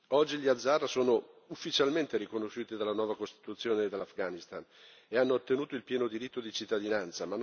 Oggi gli hazara sono ufficialmente riconosciuti dalla nuova Costituzione dell'Afghanistan e hanno ottenuto il pieno diritto di cittadinanza.